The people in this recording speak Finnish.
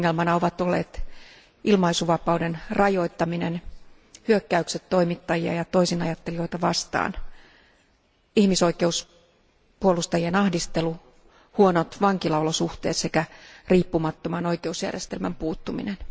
Ongelmana ovat olleet ilmaisuvapauden rajoittaminen, hyökkäykset toimittajia ja toisinajattelijoita vastaan, ihmisoikeuspuolustajien ahdistelu, huonot vankilaolosuhteet sekä riippumattoman oikeusjärjestelmän puuttuminen.